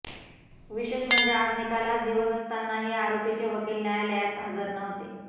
विशेष म्हणजे आज निकालाच दिवस असतानाही आरोपीचे वकील न्यायालयात हजर नव्हते